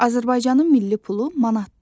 Azərbaycanın milli pulu manatdır.